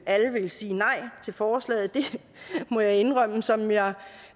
alle ville sige nej til forslaget det må jeg indrømme som jeg